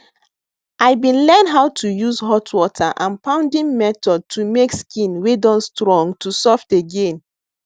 i been learn how to use hot water and pounding method to make skin wey don strong to soft again